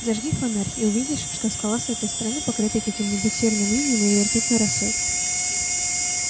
зажги фонарь и увидишь что скала с этой стороны покрыта каких-нибудь серным инеем или ртутной росой